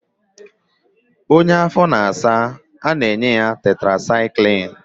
Onye afọ na-asa, a na-enye ya tetrasaịklin